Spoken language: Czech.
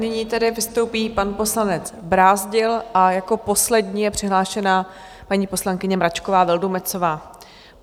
Nyní tedy vystoupí pan poslanec Brázdil a jako poslední je přihlášená paní poslankyně Mračková Vildumetzová.